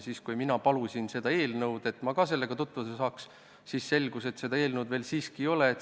Kui ma palusin seda eelnõu näha, et minagi sellega tutvuda saaks, selgus aga, et seda eelnõu siiski veel ei ole.